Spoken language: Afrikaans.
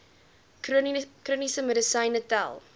chroniese medisyne tel